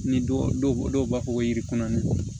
Ni dɔw dɔw b'a fɔ ko yiri kɔnɔnana